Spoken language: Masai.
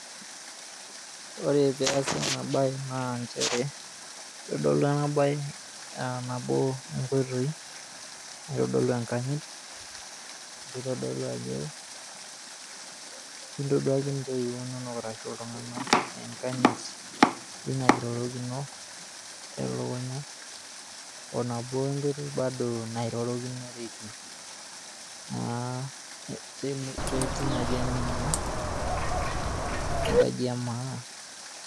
Ore peasa ena bae naa nchere kitodolu ena bae aa nabo inkoitoi naitodolu enkanyit nitodolu ajo kintoduaka ntoiwuo inonok arashu iltunganak enkanyit Tina kirorokino elukunya onabo nairorokinoteki, tina jamii naa enkaji emaa .